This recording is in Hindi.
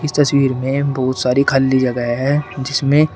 इस तस्वीर में बहुत सारी खाली जगह है जिसमें--